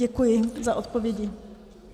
Děkuji za odpovědi.